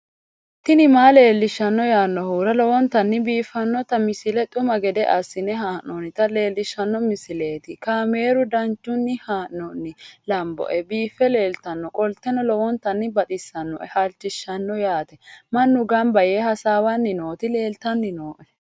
tini maa leelishshanno yaannohura lowonta biiffanota misile xuma gede assine haa'noonnita leellishshanno misileeti kaameru danchunni haa'noonni lamboe biiffe leeeltannoqolten lowonta baxissannoe halchishshanno yaate mannu gamba yee hasaawannni nooti leeltanni nooe